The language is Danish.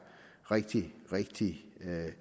rigtig rigtig